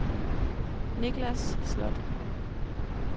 Niklas Slot